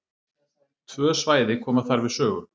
Tvö svæði koma þar við sögu.